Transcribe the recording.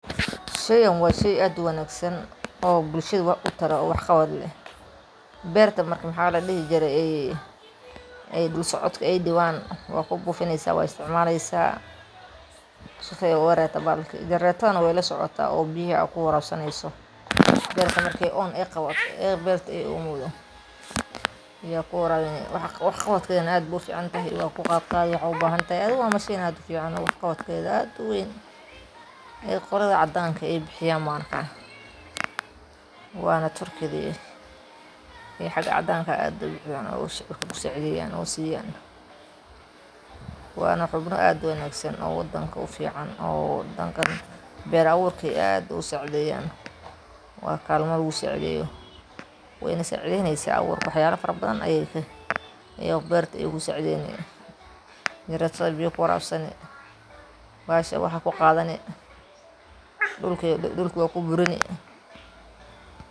Sheygan waa shey aad uwanaagsan oo bulshada wax utara oo wax qabad leh, beerta marka maxa ladhihi jiray ey dhul socodka ay dhibaan wad kubuufineysa wad isticmaaleysa si ay jenerata na way lasocota oo biyaha ad kuwarab saneyso beerta marki on ay qabato barta ay omowdo ya kuwarabini, wax qabadkeedana aad buu u fican yahay waku qaad qaadi waxad u bahan tahay, adiga waa mashin aad u fican oo wax qabaked aad u weyn qolada cadanka ay bixiyan ma aragta wana turkidayo ee xaga cadanka aya aad si fican u saacideyan oo siyan dadka, wana xubno aad u wanaagsan oo wadanka u fican oo wadankan beer abuurk aya aad u saacideyan waa kalma lugu saacideyo wana saacideynasa waxyala fara badan ayay beerta kusaacideyni .biya ad kuwarabsani, bahasha waxaa kuqaadani, dhulka waa kuburini,